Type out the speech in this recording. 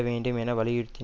வேண்டும் என்று வலியுறுத்தின்